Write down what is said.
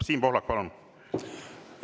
Siim Pohlak, palun!